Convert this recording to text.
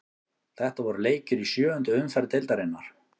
Þetta voru leikir í sjöundu umferð deildarinnar.